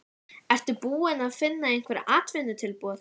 Ertu búinn að fá einhver atvinnutilboð?